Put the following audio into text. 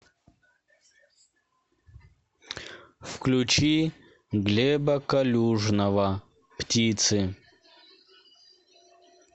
включи глеба калюжного птицы